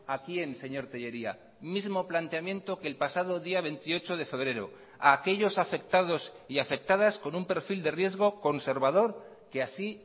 a quién señor telleria mismo planteamiento que el pasado día veintiocho de febrero a aquellos afectados y afectadas con un perfil de riesgo conservador que así